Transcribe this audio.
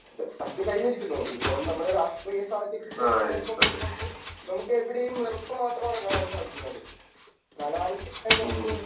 പറ്റി കഴിഞ്ഞിരിക്കുന്നു. ഇപ്പോൾ നമ്മുടെ രാഷ്ടീയ സാഹചര്യങ്ങൾ ഒക്കെ നോക്കുമ്പോൾ നമുക്ക് എവിടെയും വെറുപ്പ് മാത്രം ആണ് കാണാൻ സാധിക്കുന്നത്. അനാവശ്യമായ വെറുപ്പ്.